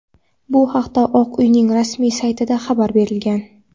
Bu haqda Oq uyning rasmiy saytida xabar berilgan.